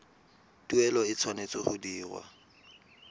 tuelo e tshwanetse go dirwa